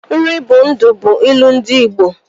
Nri bụ ndụ bụ ilu ndị Ịgbo